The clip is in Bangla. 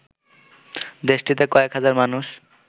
দেশটিতে কয়েক হাজার মানুষ